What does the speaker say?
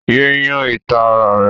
Yé yún ìta ara rẹ!